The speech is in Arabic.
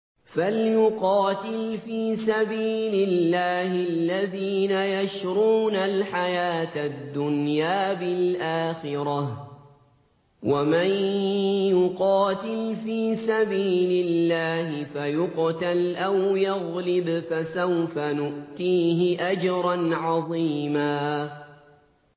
۞ فَلْيُقَاتِلْ فِي سَبِيلِ اللَّهِ الَّذِينَ يَشْرُونَ الْحَيَاةَ الدُّنْيَا بِالْآخِرَةِ ۚ وَمَن يُقَاتِلْ فِي سَبِيلِ اللَّهِ فَيُقْتَلْ أَوْ يَغْلِبْ فَسَوْفَ نُؤْتِيهِ أَجْرًا عَظِيمًا